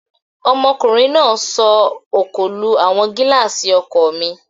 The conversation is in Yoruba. Ọmọkùnrin náà sọ òkò lu àwọn gílààsì ọkọ̀ mi